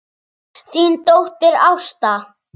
Þín dóttir, Ásta.